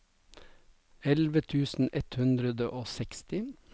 elleve tusen ett hundre og seksti